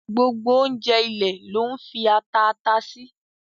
Gbogbo ọ̀unjẹ̀ ilẹ̀ ló n fi atà àtà sì.